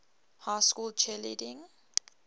high school cheerleading